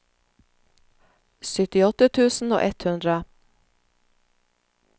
syttiåtte tusen og ett hundre